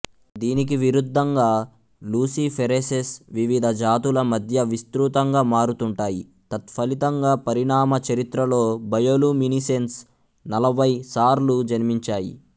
దీనికి విరుద్ధంగా లూసిఫెరేసెస్ వివిధ జాతుల మధ్య విస్తృతంగా మారుతుంటాయి తత్ఫలితంగా పరిణామ చరిత్రలో బయోలుమినిసెన్స్ నలభై సార్లు జన్మించాయి